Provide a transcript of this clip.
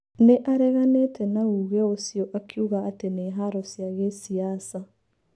Nĩ areganite na ũũge ũcio akiuga atĩ nĩ haro cia giciaca.